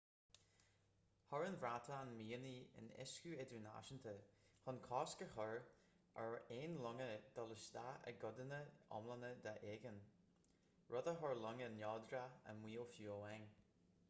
chuir an bhreatain mianaigh in uiscí idirnáisúnta chun cosc a chur ar aon longa dul isteach i gcodanna iomlána d'aigéan rud a chuir longa neodracha i mbaol fiú amháin